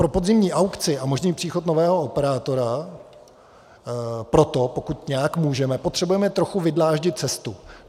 Pro podzimní aukci a možný příchod nového operátora proto, pokud nějak můžeme, potřebujeme trochu vydláždit cestu.